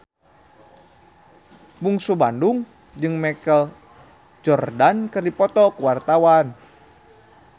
Bungsu Bandung jeung Michael Jordan keur dipoto ku wartawan